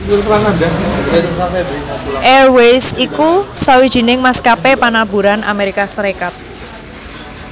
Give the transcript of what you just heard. Airways iku sawijining maskapé pamaburan Amérika Sarékat